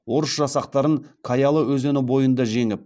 орыс жасақтарын каялы өзені бойында жеңіп